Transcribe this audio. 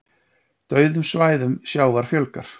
Dauðum svæðum sjávar fjölgar